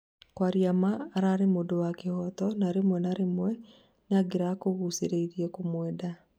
kwaria ma arari mũndũ wa kĩhoto na rĩmwe na rĩmwe nĩkungirakũgucĩrĩirie kũmwenda.